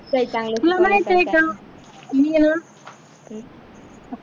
खूप काही चांगलं शिकण्यासारखं आहे मी ह्या